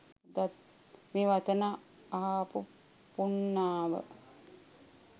මේ වචන අහපු පුණ්ණාව